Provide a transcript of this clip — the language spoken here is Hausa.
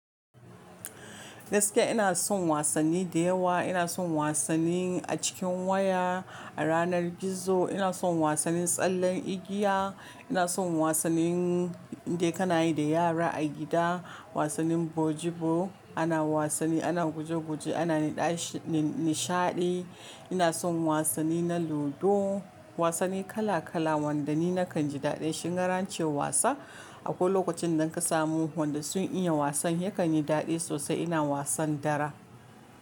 Gaske ina son wasanni da yawa, ina son wasanni a cikin waya, a ranar gizo, ina son wasanni tsallen igiya, ina son wasannin in dai kana yi da yara a gida, wasannin bojibo ana wasanni ana guje-guje ana na ɗashi nishaɗi, ina son wasanni na ludo. Wasanni kala kala wanda ni nakan ji daɗi shi. Kingarace wasa a koi lokacin da in ka samu wanda sun iya wasan yakan yi daɗi sosai. Ina wasan dara.